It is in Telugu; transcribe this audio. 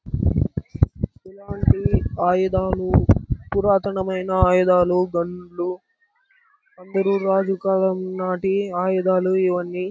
ఇలాంటి ఆయుధాలు పురాతనమైన ఆయుధాలు గన్నులు అందరూ రాజు కలం నాటి ఆయుధాలు ఇవన్నీ--